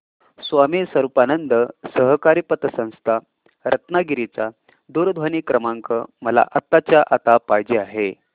स्वामी स्वरूपानंद सहकारी पतसंस्था रत्नागिरी चा दूरध्वनी क्रमांक मला आत्ताच्या आता पाहिजे आहे